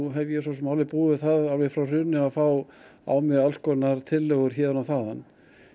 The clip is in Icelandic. hef búið við það alveg frá hruni að fá á mig tillögur héðan og þaðan